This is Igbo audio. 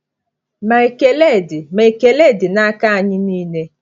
Ma ekele dị Ma ekele dị n’aka anyị niile.